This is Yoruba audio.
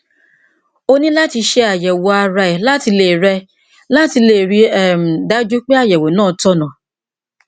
o ní láti ṣe àyẹwò ara rẹ láti lè rẹ láti lè rí i um dájú pé àyẹwò náà tọnà